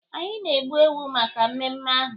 Anyị na-egbu ewu maka mmemme ahụ.